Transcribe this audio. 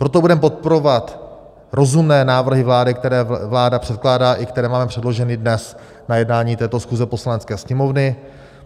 Proto budeme podporovat rozumné návrhy vlády, které vláda předkládá, i které máme předloženy dnes na jednání této schůze Poslanecké sněmovny.